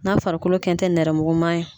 N'a farikolo kɛn tɛ nɛrɛmuguma ye.